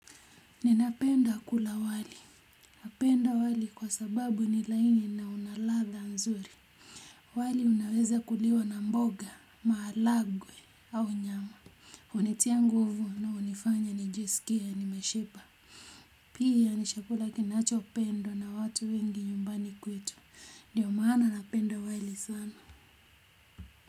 Ninapenda kula wali napenda wali kwa sababu ni laini na unalatldha nzuri wali unaweza kuliwa na mboga maharagwe au nyama hunitia nguvu na hunifanya nijisikie nimeshiba pia ni chakula kinacho pendwa na watu wengi nyumbani kwetu ndio maana napenda wali sana.